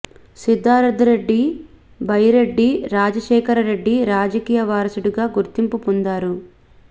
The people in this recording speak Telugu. సిద్ధార్థ రెడ్డి బైరెడ్డి రాజశేఖర రెడ్డి రాజకీయ వారసుడిగా గుర్తింపు పొందారు